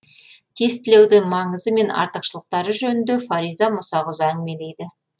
тестілеудің маңызы мен артықшылықтары жөнінде фариза мұсақызы әңгімелейді